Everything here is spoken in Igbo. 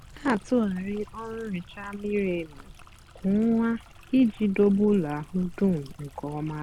na-atụgharị ọrụ nhicha miri emi kwa ọnwa iji dobe ụlọ ahụ dum nke ọma.